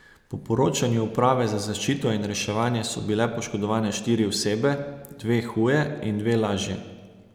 Po poročanju uprave za zaščito in reševanje so bile poškodovane štiri osebe, dve huje in dve lažje.